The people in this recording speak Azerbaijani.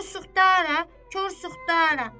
Kor suxtarə, kor suxtarə.